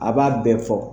A b'a bɛɛ fɔ